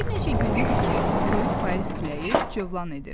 Bir neçə gün idi ki, soyuq payız küləyi cövlan edirdi.